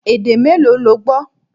Èdè mélòó lo gbọ́?